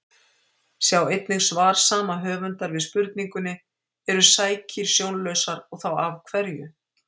Sjá einnig svar sama höfundar við spurningunni Eru sækýr sjónlausar og þá af hverju?